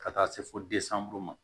Ka taa se fo ma